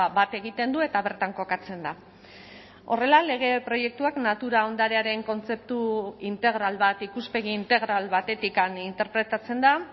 bat egiten du eta bertan kokatzen da horrela lege proiektuak natura ondarearen kontzeptu integral bat ikuspegi integral batetik interpretatzen da